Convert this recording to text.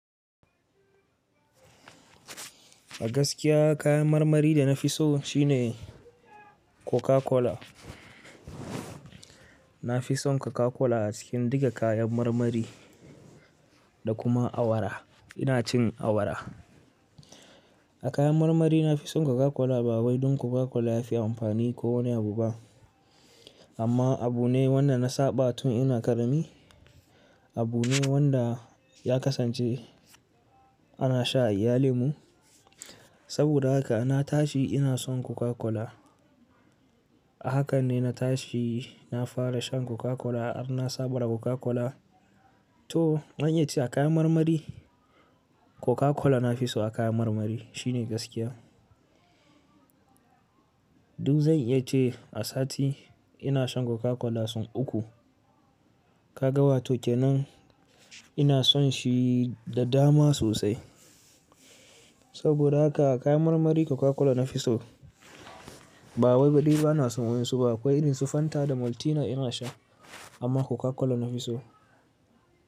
A gaskiya kayan marmari da na fi so shine Coca Cola. Na fi son Coca Cola a cikin duka kayan marmari da kuma awara. Ina cin awara. A kayan marmari na fi son Coca Cola ba wai don Coca Cola ya fi amfani ko wani abu ba. Amma abu ne wanda na saba tun ina ƙarami. Abu ne wanda ya kasance ana sha a iyalimu. Saboda haka na tashi ina son Coca Cola. Hakan ne na tashi na fara shan Coca Cola. Harna saba da Coca Cola. To, an iya ce a kayan marmari Coca Cola na fi so a kayan marmari. Shi ne gaskiya. Duk zan iya ce a sati ina shan Coca Cola sun uku. Ka ga wato kenan ina son shi da dama sosai. Saboda haka a kayan marmari Coca Cola na fi so. Ba wai bade ba na son wain su ba. Akwai irin su Fanta da Maltina ina sha. Amma Coca Cola na fi so.